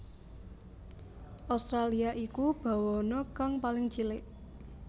Australia iku bawana kang paling cilik